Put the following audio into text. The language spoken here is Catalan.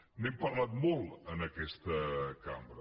n’hem parlat molt en aquesta cambra